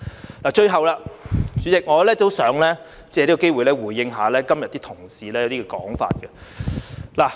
主席，最後，我也想借此機會回應今天一些同事的說法。